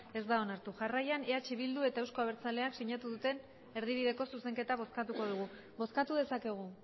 ez da onartu jarraian eh bildu eta euzko abertzaleak sinatu duten erdibideko zuzenketa bozkatuko dugu bozkatu dezakegu